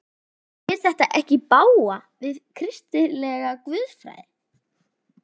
Fer þetta ekki í bága við kristilega guðfræði?